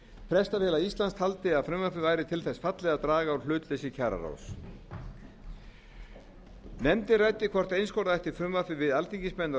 prestafélag íslands taldi að frumvarpið væri til þess fallið að draga úr hlutleysi kjararáðs nefndin ræddi hvort einskorða ætti frumvarpið við alþingismenn og